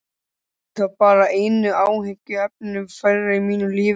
Það yrði þá bara einu áhyggjuefninu færra í mínu lífi.